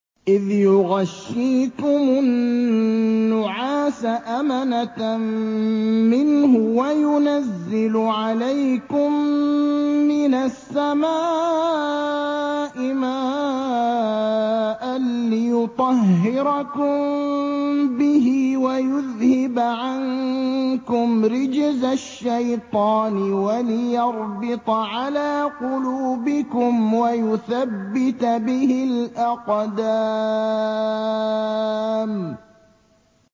إِذْ يُغَشِّيكُمُ النُّعَاسَ أَمَنَةً مِّنْهُ وَيُنَزِّلُ عَلَيْكُم مِّنَ السَّمَاءِ مَاءً لِّيُطَهِّرَكُم بِهِ وَيُذْهِبَ عَنكُمْ رِجْزَ الشَّيْطَانِ وَلِيَرْبِطَ عَلَىٰ قُلُوبِكُمْ وَيُثَبِّتَ بِهِ الْأَقْدَامَ